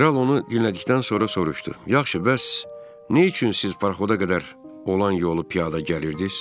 Kral onu dinlədikdən sonra soruşdu: Yaxşı, bəs nə üçün siz parxoda qədər olan yolu piyada gəlirdiz?